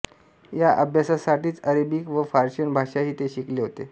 या अभ्यासासाठीच अरेबिक व पर्शियन भाषाही ते शिकले होते